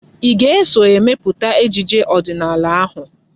Ị ga-eso emepụta ejije ọdịnala ahụ!